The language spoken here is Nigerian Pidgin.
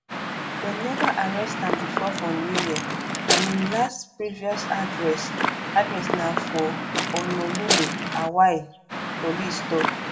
dem never arrest am before for new york and im last previous address address na for honolulu hawaii police tok